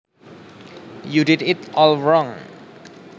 You did it all wrong